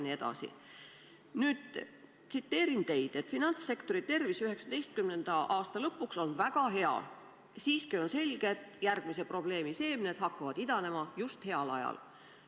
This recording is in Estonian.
Nüüd tsiteerin teid: finantssektori tervis 2019. aasta lõpuks on väga hea, siiski on selge, et järgmise probleemi seemned hakkavad idanema just heal ajal.